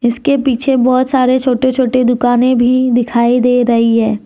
इसके पीछे बहोत सारे छोटे छोटे दुकाने भी दिखाई दे रही है।